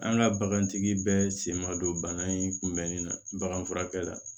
An ka bagantigi bɛɛ sen ma don bana in kunbɛnni na baganfurakɛ la